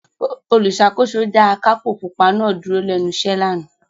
Olùṣàkóso dá akápò pupa náà dúró lẹ́nu iṣẹ́ lánàá.